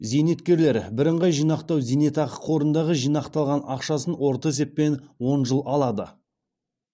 зейнеткерлер біріңғай жинақтау зейнетақы қорындағы жинақталған ақшасын орта есеппен он жыл алады